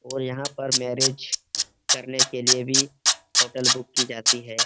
और यहाँ पर मेरिज करने के लिए भी होटल बुक की जाती है ।